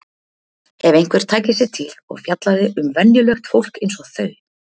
Ef einhver tæki sig til og fjallaði um venjulegt fólk eins og þau!